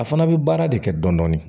A fana bɛ baara de kɛ dɔni dɔni